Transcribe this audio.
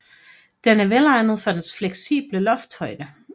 Den er velegnet for dens fleksibel løftehøjde